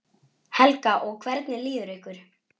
Helga: Og hvernig líður ykkur?